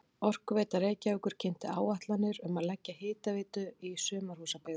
Orkuveita Reykjavíkur kynnti áætlanir um að leggja hitaveitu í sumarhúsabyggðir í